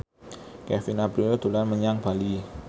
Kevin Aprilio dolan menyang Bali